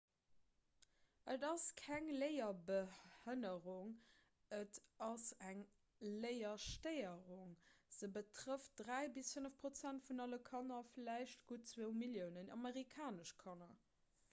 et ass keng léierbehënnerung et ass eng léierstéierung se betrëfft 3 bis 5 prozent vun alle kanner vläicht gutt 2 milliounen amerikanesch kanner